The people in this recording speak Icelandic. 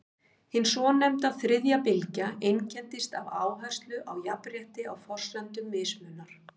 hin svonefnda „þriðja bylgja“ einkennist af áherslu á jafnrétti á forsendum mismunar